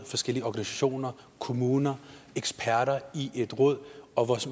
forskellige organisationer kommuner eksperter i et råd og